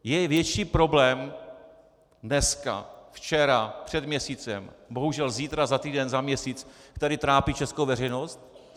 Je větší problém dneska, včera, před měsícem, bohužel zítra, za týden, za měsíc, který trápí českou veřejnost?